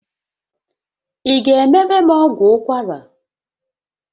Ị ga-emere m ọgwụ ụkwara?